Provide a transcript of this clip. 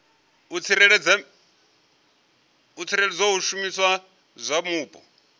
u tsireledza zwishumiswa zwa mupo